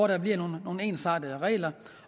der bliver nogle ensartede regler